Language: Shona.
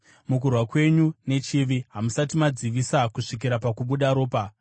Mukurwa kwenyu nechivi, hamusati madzivisa kusvikira pakubuda ropa.